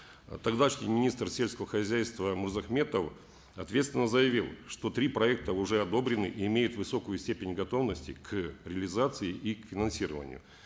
э тогдашний министр сельского хозяйства мырзахметов ответственно заявил что три проекта уже одобрены и имеют высокую степень готовности к реализации и к финансированию